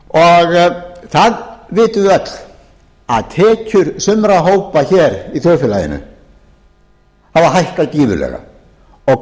vitum við öll að tekjur sumra hópa hér í þjóðfélaginu hafa hækkað gífurlega og